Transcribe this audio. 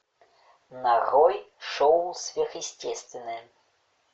нарой шоу сверхъестественное